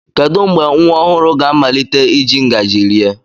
Kedu mgbe nwa ọhụrụ ga-amalite iji ngaji rie?